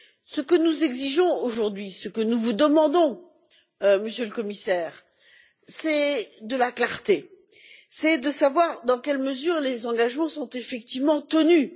Ce que nous exigeons aujourd'hui, ce que nous vous demandons, Monsieur le Commissaire, c'est de la clarté, c'est de savoir dans quelle mesure les engagements sont effectivement tenus.